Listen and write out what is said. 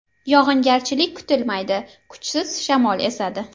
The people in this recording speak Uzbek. Yog‘ingarchilik kutilmaydi, kuchsiz shamol esadi.